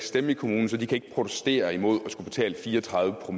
stemme i kommunen så de kan ikke protestere imod betale 34‰